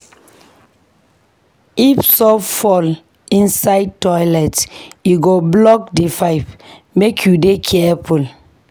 If soap fall inside toilet, e go block di pipe. Make you dey careful.